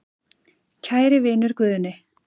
Kæri vinur Guðni.